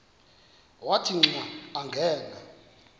wathi xa angena